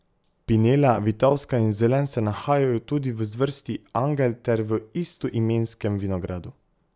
Pinela, vitovska in zelen se nahajajo tudi v zvrsti angel ter v istoimenskem vinogradu.